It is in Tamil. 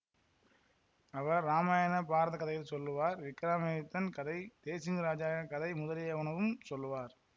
அவர் இராமாயண பாரதக் கதைகள் சொல்லுவார் விக்கிரமாதித்தியன் கதை தேசிங்கு ராஜாவின் கதை முதலியனவும் சொல்லுவார்